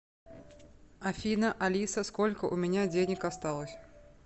афина алиса сколько у меня денег осталось